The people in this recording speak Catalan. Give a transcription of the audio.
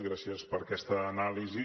gràcies per aquesta anàlisi